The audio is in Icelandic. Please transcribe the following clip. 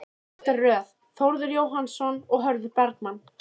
Aftari röð: Þórður Jóhannsson, Hörður Bergmann